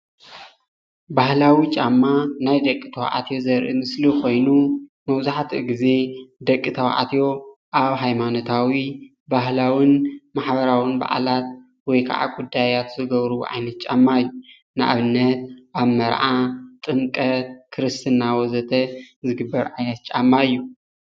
ባህላዊ ጫማ ናይ ደቂ ተባዕትዮ ዘርኢ ምስሊ ኮይኑ መብዛሕትኡ ግዜ ደቂ ተባዕትዮ ኣብ ሃይማኖታዊ ባህላውን ማሕበራውን በዓላት ወይ ከዓ ጉዳይን ዝገብርዎ ዓይነት ጫማ እዩ፡፡ ኣብ መርዓ፣ ጥምቀትን ክርስትናን ወዘተ ዝግበር ዓይነት ጫማ እዩ፡፡